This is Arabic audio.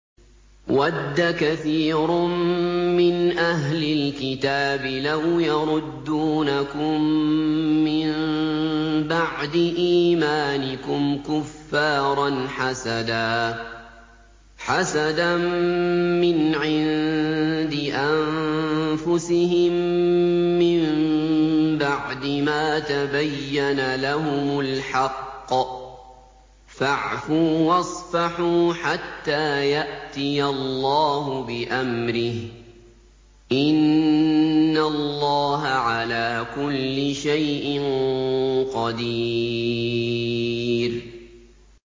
وَدَّ كَثِيرٌ مِّنْ أَهْلِ الْكِتَابِ لَوْ يَرُدُّونَكُم مِّن بَعْدِ إِيمَانِكُمْ كُفَّارًا حَسَدًا مِّنْ عِندِ أَنفُسِهِم مِّن بَعْدِ مَا تَبَيَّنَ لَهُمُ الْحَقُّ ۖ فَاعْفُوا وَاصْفَحُوا حَتَّىٰ يَأْتِيَ اللَّهُ بِأَمْرِهِ ۗ إِنَّ اللَّهَ عَلَىٰ كُلِّ شَيْءٍ قَدِيرٌ